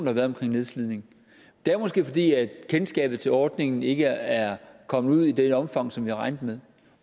har været omkring nedslidning det er måske fordi kendskabet til ordningen ikke er kommet ud i det omfang som vi har regnet med